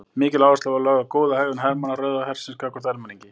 Mikil áhersla var lögð á góða hegðun hermanna Rauða hersins gagnvart almenningi.